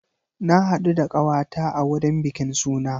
Na haɗu da ƙawa ta a wurin bikin suna.